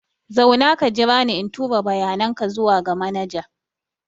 Zauna ka jira ni in tura bayanan ka zuwa ga manaja.